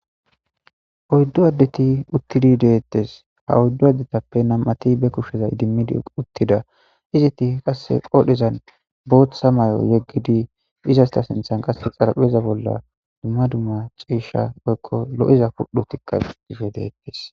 oyddu addeti uttidi deettes ha oyddu addetappe nam'ati be kushsheza idimmidi uttida iziti qasse qoodhezan booththa mayo yeggidi izasta sinthan qasse xarapheza bolla dumma dumma ciesha oykko lo'iza pudhotikka dicishe deetes